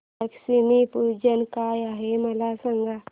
लक्ष्मी पूजन काय आहे मला सांग